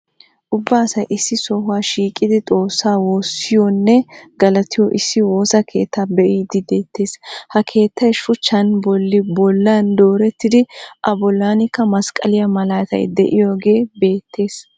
Ubba asay issi sohuwaa shiiqidi xoossaa woossiyoonne galatiyoo issi woosa keettaa be'idi de'eettees. Ha keettay shuuchchan bolli bollaan doorettidi a bollaanikka masqqaliyaa maalataay de'iyaagee beettees.